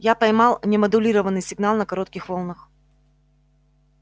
я поймал немодулированный сигнал на коротких волнах